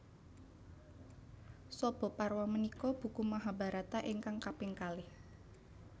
Sabhaparwa punika buku Mahabharata ingkang kaping kalih